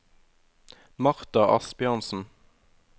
Martha Asbjørnsen